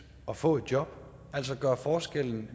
at få et job altså at gøre forskellen